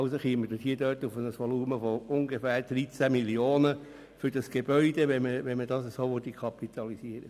Also käme man dort auf ein Volumen von ungefähr 13 Mio. Franken für das Gebäude, würde man es so kapitalisieren.